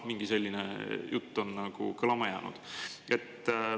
Mingi selline jutt on kõlama jäänud.